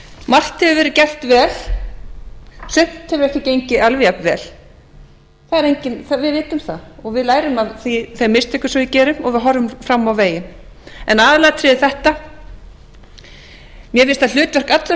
margt hefur verið gert vel sumt hefur ekki gengið alveg jafnvel við vitum það og við lærum af þeim mistökum sem við gerum og við horfum fram á veginn en aðalatriðið er þetta mér finnst að hlutverk allra